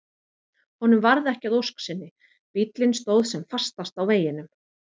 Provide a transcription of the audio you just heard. Honum varð ekki að ósk sinni, bíllinn stóð sem fastast á veginum.